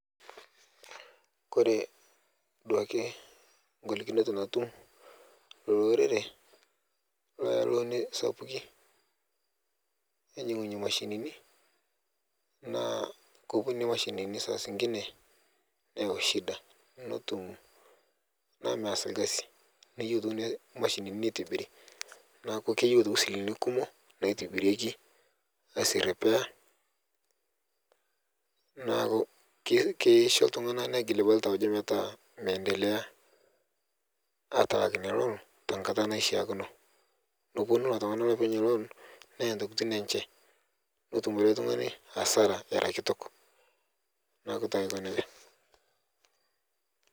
Kore duake nkolikinot natum lorere loya looni sapuki ainyengunye mashinini naa kopuo nenia mashinini saa inkine neyau shida naaku meas lkasineyeu aitoki mashini neitibiri naaku keyeu aitoki silingini kumo naitibireki asie repair naaku keishu ltungana negiil ltauja metaa mendelea atalak nia loon nkata naishakino neponu ltungana lopeny loon neya ntokitin enche netum ilo ltungani asara era kitok naaku taa aikoneja